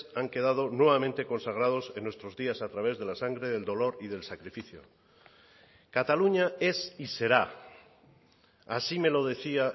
han quedado nuevamente consagrados en nuestros días a través de la sangre del dolor y del sacrificio cataluña es y será así me lo decía